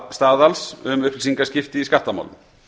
staðals um upplýsingaskipti í skattamálum